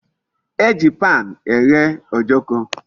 E ji pan eghe Ojoko